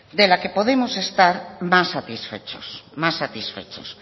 de la que podemos estar más satisfechos